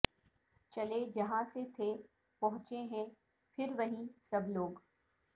چلے جہاں سے تھے پہنچے ہیں پھر وہیں سب لوگ